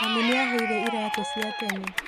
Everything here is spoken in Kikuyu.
Mami nĩaheire iratũ cia tene